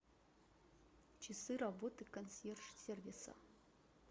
часы работы консьерж сервиса